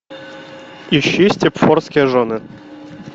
ищи степфордские жены